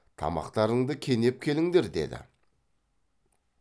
тамақтарыңды кенеп келіңдер деді